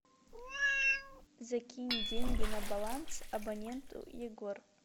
закинь деньги на баланс абоненту егор